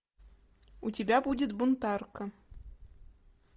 у тебя будет бунтарка